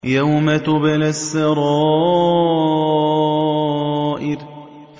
يَوْمَ تُبْلَى السَّرَائِرُ